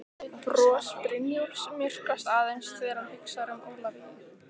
Bros Brynjólfs myrkvast aðeins þegar hann hugsar um Ólafíu.